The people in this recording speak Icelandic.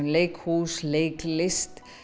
leikhús leiklist